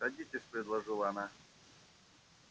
садитесь предложила она